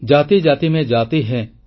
ଜାତି ଜାତି ମେଁ ଜାତି ହୈ